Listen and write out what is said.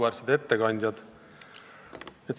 Auväärsed ettekandjad!